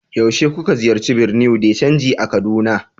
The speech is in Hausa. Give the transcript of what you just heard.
yaushe kuka ziyarci bureau de chanji a kaduna